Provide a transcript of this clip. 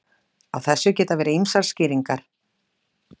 Á þessu geta verið ýmsar skýringar.